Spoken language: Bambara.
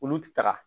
Olu ti taga